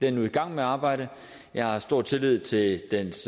er nu i gang med arbejdet og jeg har stor tillid til dens